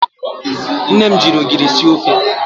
Nne m ji ogiri sie ofe.